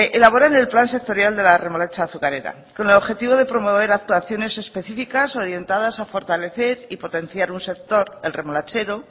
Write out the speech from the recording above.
elaboran el plan sectorial de la remolacha azucarera con el objetivo de promover actuaciones específicas orientadas a fortalecer y potenciar un sector el remolachero